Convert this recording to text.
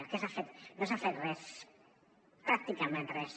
què s’ha fet no s’ha fet res pràcticament res